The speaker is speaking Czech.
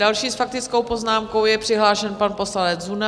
Další s faktickou poznámkou je přihlášen pan poslanec Zuna.